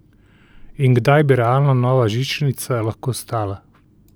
In kdaj bi realno nova žičnica lahko stala?